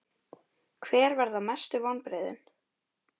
Hver verða mestu vonbrigðin?